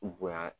Bonya